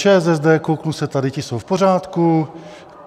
ČSSD - kouknu se tady - ti jsou v pořádku.